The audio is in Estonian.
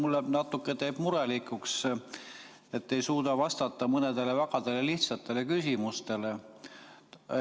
Mind teeb natukene murelikuks, et te ei suuda vastata mõnele väga lihtsale küsimusele.